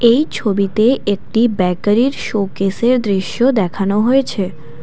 এই ছবিতে একটি ব্যাকারির শোকেসের দৃশ্য দেখানো হয়েছে ।